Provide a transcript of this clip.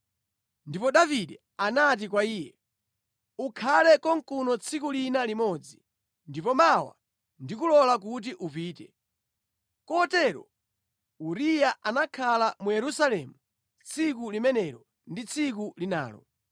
Ndipo Davide anati kwa iye, “Ukhale konkuno tsiku lina limodzi, ndipo mawa ndikulola kuti upite.” Kotero Uriya anakhala mu Yerusalemu tsiku limenelo ndi tsiku linalo.